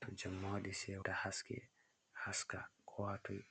to jemma waɗi sewta haske haska ko ha toi.